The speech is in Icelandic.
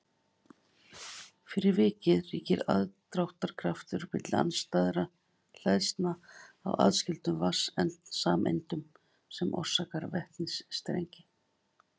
fyrir vikið ríkir aðdráttarkraftur milli andstæðra hleðslna á aðskildum vatnssameindum sem orsakar vetnistengi